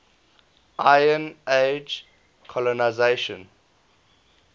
iron age colonisation